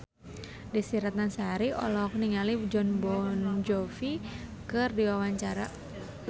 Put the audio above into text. Desy Ratnasari olohok ningali Jon Bon Jovi keur diwawancara